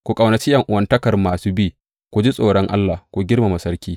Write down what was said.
Ku ƙaunaci ’yan’uwantakar masu bi, ku ji tsoron Allah, ku girmama sarki.